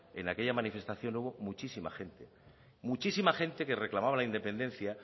en aquella manifestación hubo muchísima gente muchísima gente que reclamaba la independencia